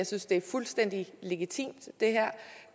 synes det er fuldstændig legitimt